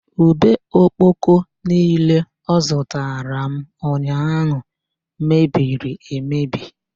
Ube okpoko niile ọ zụtara m ụnyaahụ mebiriri emebi